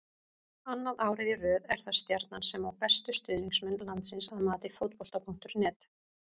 Annað árið í röð er það Stjarnan sem á bestu stuðningsmenn landsins að mati Fótbolta.net.